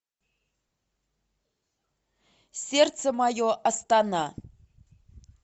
сердце мое астана